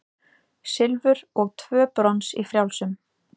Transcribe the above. Silfur og tvö brons í frjálsum